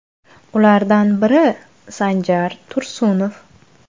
Ulardan biri Sanjar Tursunov.